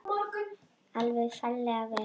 Alveg ferlega vel.